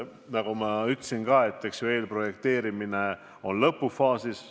Nagu ma ütlesin, siis eelprojekteerimine on lõpufaasis.